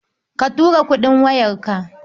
Ka tura kuɗin wayarka?